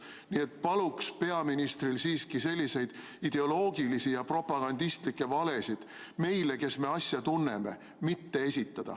Nii et paluks peaministril siiski selliseid ideoloogilisi ja propagandistlikke valesid meile, kes me asja tunneme, mitte esitada.